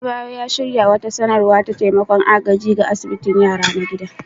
Adebayor ya shirya wata nasara ta taimakon agaji ga asibitin yara na gida